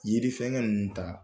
Yirifɛŋɛ ninnu ta